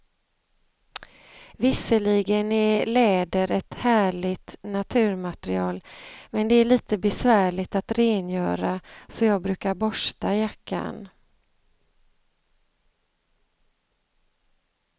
Visserligen är läder ett härligt naturmaterial, men det är lite besvärligt att rengöra, så jag brukar borsta jackan.